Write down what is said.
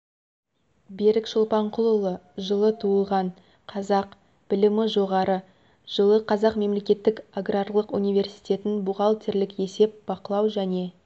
берік шолпанқұлұлы жылы туылған қазақ білімі жоғары жылы қазақ мемлекеттік аграрлық университетін бухгалтерлік есеп бақылау және